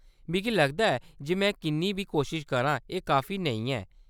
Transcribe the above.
मिगी लगदा ऐ जे में किन्नी बी कोशश करां, एह्‌‌ काफी नेईं ऐ।